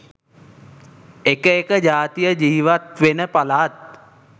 එක එක ජාතිය ජීවත්වෙන පළාත්